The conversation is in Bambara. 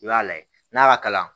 I b'a lajɛ n'a ka kalan